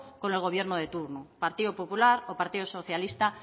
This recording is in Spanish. con el gobierno de turno partido popular o partido socialista